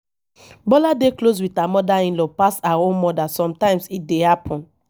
bola dey close with her mother inlaw pass her own mother sometimes e dey happen